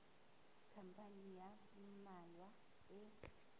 khampani ya ba mmalwa e